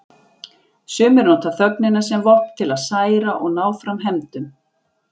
Sumir nota þögnina sem vopn, til að særa og ná fram hefndum.